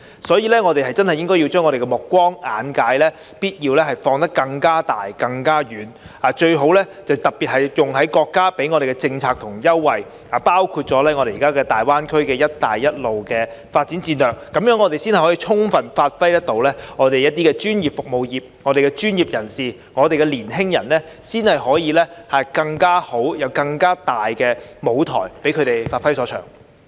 所以，我們真的必須要把我們的目光和眼界放得更廣和更遠，特別是用在國家給我們的政策和優惠上，包括我們現在的大灣區"一帶一路"的發展戰略，這樣才可以充分發揮我們的專業服務業，我們的專業人士和年輕人才可以有更好及更大的舞台一展所長。